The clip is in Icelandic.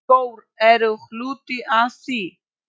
Skór eru hluti af því.